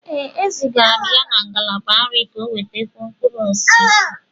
Ee, e zigara m ya na ngalaba nri ka ọ nwètakwuó mkpụrụ osisi